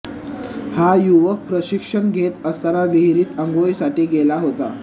हा युवक प्रशिक्षण घेत असताना विहिरीत अंघोळीसाठी गेला होता